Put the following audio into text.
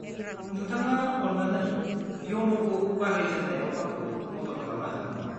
नोंथाङा अन्नानै इयन'खौ बाहायजेन्नायाव आंखौ मदद खालामनो हागोन नामा?